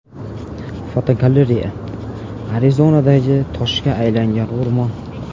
Fotogalereya: Arizonadagi toshga aylangan o‘rmon.